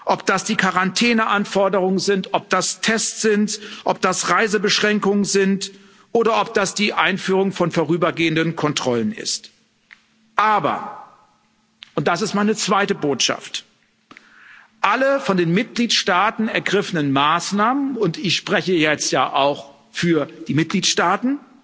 Ob das die Quarantäne Anforderungen sind, ob das Tests sind, ob das Reisebeschränkungen sind oder ob das die Einführung von vorrübergehenden Kontrollen ist. Aber und das ist meine zweite Botschaft Alle von den Mitgliedstaaten ergriffenen Maßnahmen, und ich spreche jetzt ja auch für die Mitgliedstaaten,